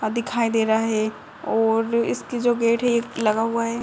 अ दिखाई दे रहा है और इसकी जो गेट है ये लगा हुआ है।